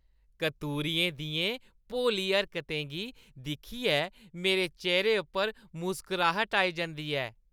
कतूरुएं दियें भोली हरकतें गी दिक्खियै मेरे चेह्‌रे उप्पर मुस्कराह्‌ट आई जंदी ऐ।